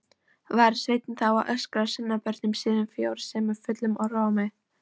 Var Sveinn þá að óska sonarbörnum sínum frjósemi fullum rómi.